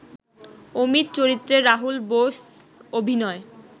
অমিত চরিত্রে রাহুল বোস অভিনয়